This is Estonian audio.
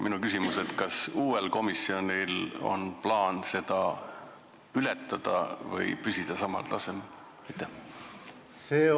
Minu küsimus on, kas uuel komisjonil on plaan seda ületada või püsida samal tasemel?